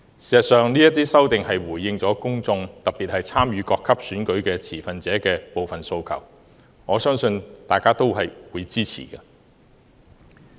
事實上，這些修訂回應了公眾，特別是參與各級選舉的持份者的部分訴求，我相信大家均會支持。